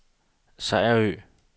Sejerø